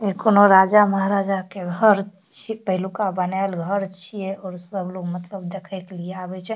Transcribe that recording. इ कोनो राजा महराजा के घर छीये पहलुकबा बनाएल घर छै सब लोग मतलब देखे के लिए आबे छै।